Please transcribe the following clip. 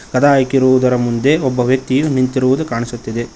ಕದ ಹಾಕಿರುವುದರ ಮುಂದೆ ಒಬ್ಬ ವ್ಯಕ್ತಿಯು ನಿಂತಿರುವುದು ಕಾಣಿಸುತ್ತಿದೆ.